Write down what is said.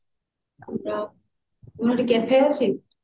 ତମର ସେଠି cafe ଅଛି